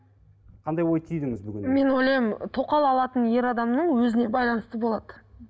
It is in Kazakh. қандай ой түйдіңіз бүгіннен мен ойлаймын тоқал алатын ер адамның өзіне байланысты болады